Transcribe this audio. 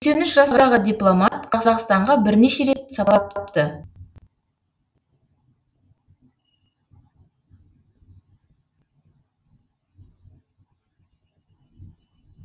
сексен үш жастағы дипломат қазақстанға бірнеше рет сапарлапты